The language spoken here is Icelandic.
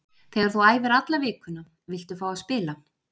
Þegar þú æfir alla vikuna viltu fá að spila.